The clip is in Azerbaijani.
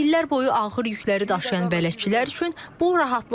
İllər boyu ağır yükləri daşıyan bələdçilər üçün bu rahatlıqdır.